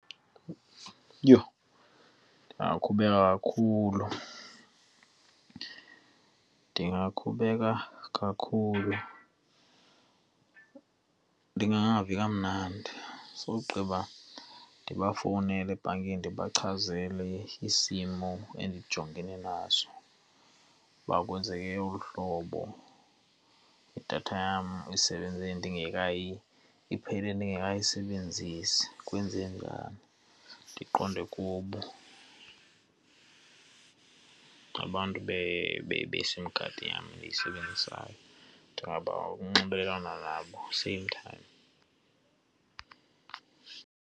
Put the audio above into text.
Yho, ndingakhubeka kakhulu! Ndingakhubeka kakhulu, ndingangavi kamnandi sogqiba ndibafowunele ebhankini ndibachazele isimo endijongene naso, uba kwenzeke olu hlobo, idatha yam isebenze iphele dingekayisenzisi. Kwenzeke njani? Ndiqonde kubo abantu beSIM card yam endiyisebenzisayo. Ndingaba ukunxibelelana nabo same time.